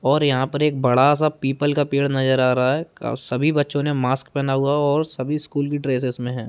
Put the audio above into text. --और यहाँ पर एक बड़ा-सा पीपल का पेड़ नज़र आ रहा है का सभी बच्चों ने मास्क पहना हुआ है और सभी स्कूल की ड्रेसस में है।